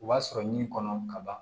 U b'a sɔrɔ ɲi kɔnɔ ka ban